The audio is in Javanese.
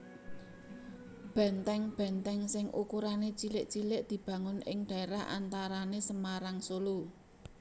Benteng benteng sing ukurané cilik cilik dibangun ing dhaérah antarané Semarang Solo